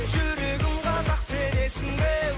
жүрегің қазақ сенесің бе